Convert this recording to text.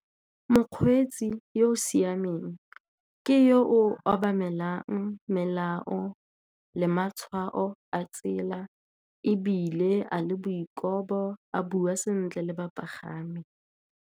Mokgweetsi yo o siameng ke yo o obamelang melao le matshwao a tsela, ebile a le boikobo, a bua sentle le bapagami.